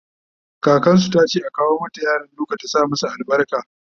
kakansu tace a kawo mata yaran duka ta sa masu albarka